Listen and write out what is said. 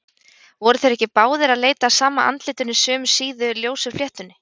Voru þeir ekki báðir að leita að sama andlitinu, sömu síðu, ljósu fléttunni?